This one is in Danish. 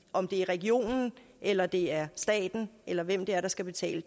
om det er regionen eller det er staten eller hvem det er der skal betale